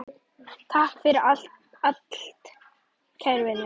Takk fyrir allt, kæru vinir!